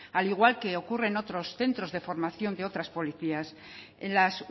al igual que ocurre en otros centros de formación de otras policías en las